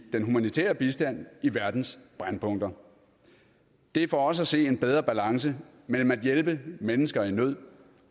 den humanitære bistand i verdens brændpunkter det er for os at se en bedre balance mellem at hjælpe mennesker i nød